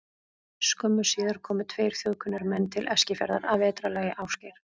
Skömmu síðar komu tveir þjóðkunnir menn til Eskifjarðar að vetrarlagi, Ásgeir